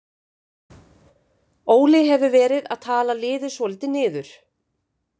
Óli hefur verið að tala liðið svolítið niður.